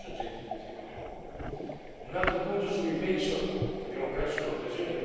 Un altro punto su cui penso che abbiamo perso un'occasione riguarda, anche in questo caso, i lavoratori.